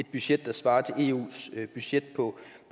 et budget der svarer til eus budget